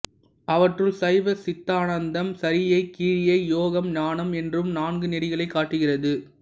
அவற்றுள் சைவ சித்தாந்தம் சரியை கிரியை யோகம் ஞானம் என்னும் நான்கு நெறிகளைக் காட்டுகிறது